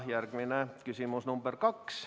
Järgmine küsimus, nr 2.